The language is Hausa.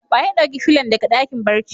Wa ya dauki fillon daga dakin barci?